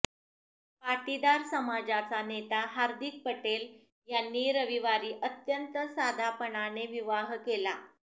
पाटीदार समाजाचा नेता हार्दिक पटेल यांनी रविवारी अत्यंत साधापणाने विवाह केला